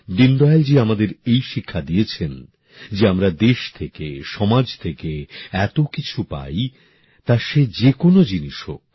দীনদয়ালজী আমাদের এই শিক্ষা দিয়েছেন যে আমরা দেশ থেকে সমাজ থেকে এত কিছু পাই তা সে যে কোন জিনিস হোক